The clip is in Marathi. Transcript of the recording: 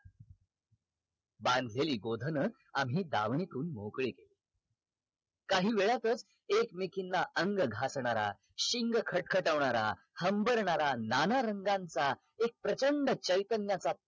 बांधलेली गोधन आम्ही दावनितून मोकळी केली काही वेळातच एकमेकींना अंग घासणारा शिंग खटखटवणारा हंबरणारा नाना रंगांचा एक प्रचंड चैतन्याचा